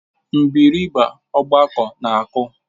Mgbịrịgba ọgbakọ na-akụ.